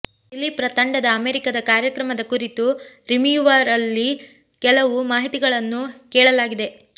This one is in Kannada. ದಿಲೀಪ್ರ ತಂಡದ ಅಮೆರಿಕದ ಕಾರ್ಯಕ್ರಮದ ಕುರಿತು ರಿಮಿಯವರಲ್ಲಿ ಕೆಲವು ಮಾಹಿತಿಗಳನ್ನು ಕೇಳಲಾಗಿದೆ